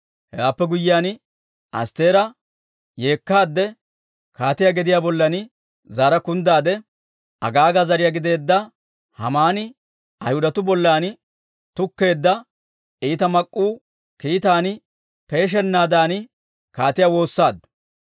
Hewaappe guyyiyaan, Astteera yeekkaadde, kaatiyaa gediyaa bollan zaara kunddaade, Agaaga zariyaa gideedda Haamani Ayhudatuu bollan tukkeedda iita mak'k'uu kiitaan peeshennaadan kaatiyaa woossaaddu.